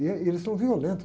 E, eh, e eles são violentos.